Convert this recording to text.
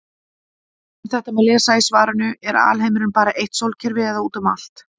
Um þetta má lesa í svarinu Er alheimurinn bara eitt sólkerfi eða út um allt?